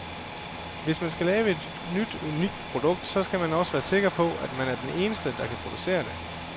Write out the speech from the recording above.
Hvis man skal lave et nyt unikt produkt, så skal man også være sikker på, at man er den eneste, der kan producere det.